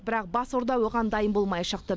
бірақ бас орда оған дайын болмай шықты